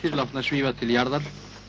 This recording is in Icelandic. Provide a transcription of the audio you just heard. látnar svífa til jarðar